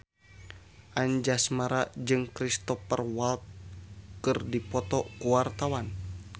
Anjasmara jeung Cristhoper Waltz keur dipoto ku wartawan